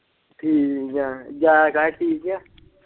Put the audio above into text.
ਠੀਕ ਏ ਜਾਇਆ ਕਰ ਠੀਕ ਏ।